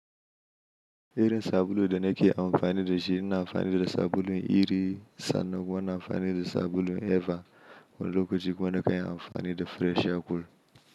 Irin sabulu da nake amfani da shi ina amfani da sabulun iri sannan kuma na amfani da sabulun Eva wando ko duk wanda ka yi amfani da fresh akwal.